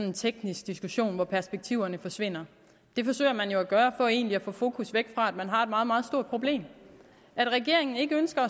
en teknisk diskussion hvor perspektiverne forsvinder det forsøger man jo at gøre for egentlig at få fokus væk fra at man har et meget meget stort problem at regeringen ikke ønsker